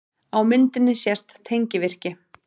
Á myndinni sést tengivirki.